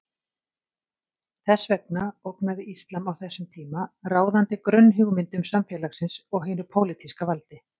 Þess vegna ógnaði íslam á þessum tíma ráðandi grunnhugmyndum samfélagsins og hinu pólitíska valdi.